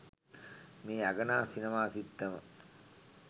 මේ අගනා සිනමා සිත්තම